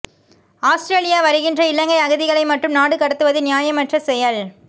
Australia வருகின்ற இலங்கை அகதிகளை மட்டும் நாடு கடத்துவது நியாயமற்ற செயல்